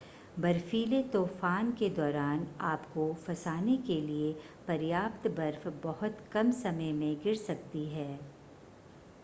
बर्फ़ीले तूफ़ान के दौरान आपको फंसाने के लिए पर्याप्त बर्फ बहुत कम समय में गिर सकती है